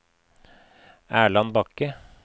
Erland Bakke